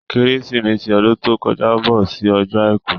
Kérésìmesì ọdún tó kọjá bọ sí ọjọ́ àìkú.